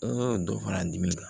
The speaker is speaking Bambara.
N y'o dɔ fara dimi kan